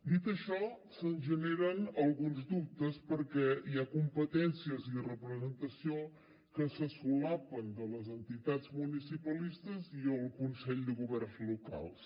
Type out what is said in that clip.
dit això se’ns generen alguns dubtes perquè hi ha competències i representació que se solapen de les entitats municipalistes i el consell de governs locals